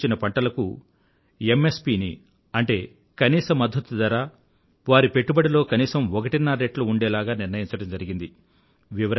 సూచించిన పంటలకు MSPని వారి పెట్టుబడిలో కనీసం ఒకటిన్నర రెట్లు ఉండేలాగ నిర్ణయించడం జరిగింది